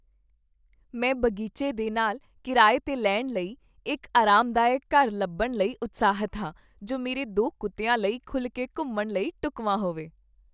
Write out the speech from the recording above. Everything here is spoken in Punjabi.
ਮੈਂ ਬਗੀਚੇ ਦੇ ਨਾਲ ਕਿਰਾਏ 'ਤੇ ਲੈਣ ਲਈ ਇੱਕ ਆਰਾਮਦਾਇਕ ਘਰ ਲੱਭਣ ਲਈ ਉਤਸ਼ਾਹਿਤ ਹਾਂ, ਜੋ ਮੇਰੇ ਦੋ ਕੁੱਤਿਆਂ ਲਈ ਖੁੱਲ੍ਹ ਕੇ ਘੁੰਮਣ ਲਈ ਢੁੱਕਵਾਂ ਹੋਵੇ ।